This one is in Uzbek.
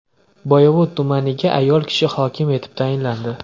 Boyovut tumaniga ayol kishi hokim etib tayinlandi.